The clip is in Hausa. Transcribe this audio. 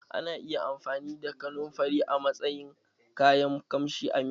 Ana iya amfani da kanunfari a matsayin kayan kamshi a miya